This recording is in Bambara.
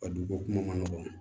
A du ko kuma ma nɔgɔn